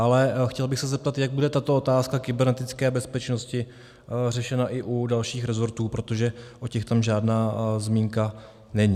Ale chtěl bych se zeptat, jak bude tato otázka kybernetické bezpečnosti řešena i u dalších rezortů, protože o těch tam žádná zmínka není.